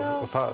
það